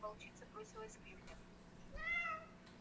волчица бросилась к людям